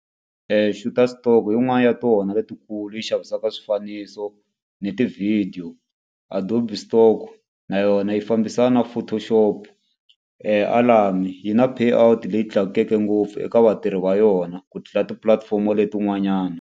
Shutterstock i yin'wani ya tona letikulu yi xavisaka swifaniso ni tivhidiyo. Adobe Stock na yona yi fambisana photoshop. Alamy yi na pay out leyi tlakukeke ngopfu eka vatirhi va yona ku tlula tipulatifomo letin'wanyana.